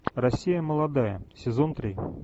россия молодая сезон три